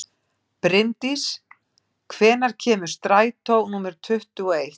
Brimdís, hvenær kemur strætó númer tuttugu og eitt?